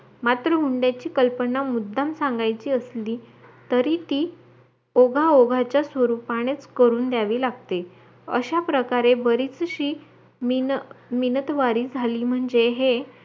मात्र हुंड्याची कल्पना मुद्दाम सांगायची असली तरी ती ओघा ओघाचा स्वरूपाने करून द्यावी लागते अशा प्रकारे बरेचशी मिन मिनतवारी झाली म्हणजे